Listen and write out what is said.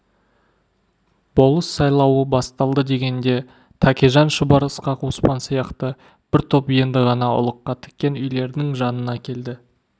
болыс сайлауы басталды дегенде тәкежан шұбар ысқақ оспан сияқты бір топ енді ғана ұлыққа тіккен үйлердің жанына келді